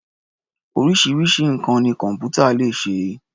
Oríṣiríṣi nǹkan ni kọ̀m̀pútà lè ṣe.